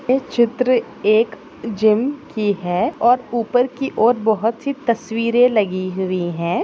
हे चित्र एक जिम की है और उपर की और बहोत सी तस्वीरे लगी हुई है।